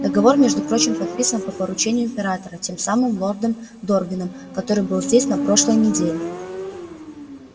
договор между прочим подписан по поручению императора тем самым лордом дорвином который был здесь на прошлой неделе